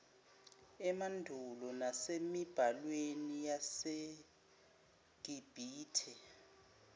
emandulo nasemibhalweni yabasegibhithe